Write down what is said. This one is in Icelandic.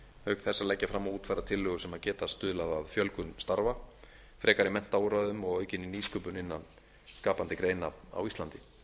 auk þess að leggja fram og útfæra tillögur sem geta stuðlað að fjölgun starfa frekari menntaúrræðum og aukinni nýsköpun innan skapandi greina á íslandi